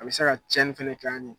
A bɛ se ka tiyɛni fɛnɛ k'an ye.